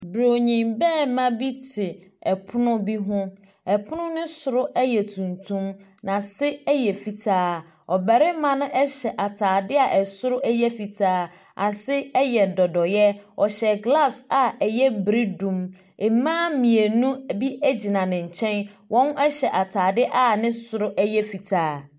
Brini barima bi te ɛpono bi ho. Ɛpono no soro yɛ tuntum. N'ase yɛ fitaa. Ɔbarima no hyɛ ataade a ɛsoro yɛ fitaa. Ase yɛ dodoeɛ. Ɔhyɛ gloves a ɛyɛ bredum. Mmaa mmienu bi gyina ne nkyɛn. Wɔhyɛ ataade a ne soro yɛ fitaa.